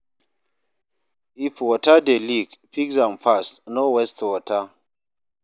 If water dey leak, fix am fast, no waste water